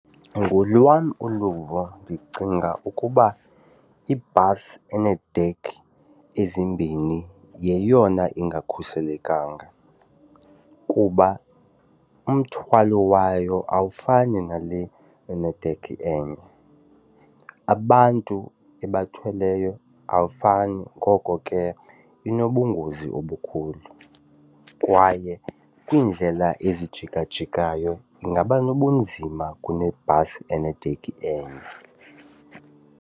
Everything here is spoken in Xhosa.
Ngolwam uluvo ndicinga ukuba ibhasi eneedekhi ezimbini yeyona ingakhuselekanga kuba umthwalo wayo awufani nale enedekhi enye. Abantu ebathweleyo awufani ngoko ke inobungozi obukhulu, kwaye kwiindlela ezijikajikayo ingaba nobunzima kunebhasi enedekhi enye.